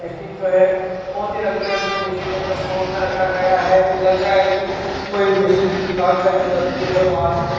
machine जो है बहुत ही रंग बिरंग मशीन में रखा गया है ये लग रहा है कि कोई मशीनरी दुकान का जो तस्वीर है वहां से खी --